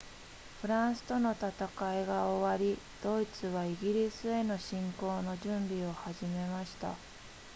フランスとの戦いが終わりドイツはイギリスへの侵攻の準備を始めました